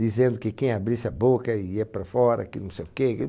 Dizendo que quem abrisse a boca ia para fora, que não sei o quê,